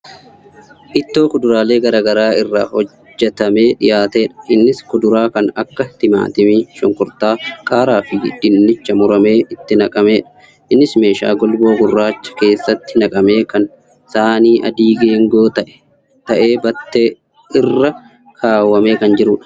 Ittoo kuduraalee garaagaraa irraa hojjatamee dhiyaatedha. Innis kuduraa kan akka timaatimii shunkurtaa qaaraafi dinichaa muramee itti naqamedha. Innis meeshaa golboo gurraacha kkeessattii naqamee kan saanii adii geengoo ta'ee battee irra kaawwamee kan jirudha.